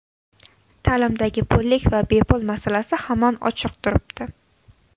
Ta’limdagi pullik va bepul masalasi hamon ochiq turibdi.